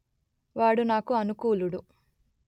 వాడు నాకు అనుకూలుడు